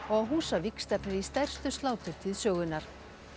og á Húsavík stefnir í stærstu sláturtíð sögunnar